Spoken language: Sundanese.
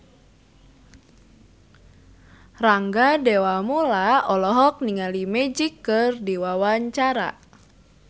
Rangga Dewamoela olohok ningali Magic keur diwawancara